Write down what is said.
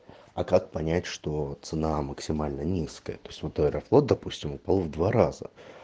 а как понять что цена максимально низкая то есть вот аэрофлот допустим упал в два раза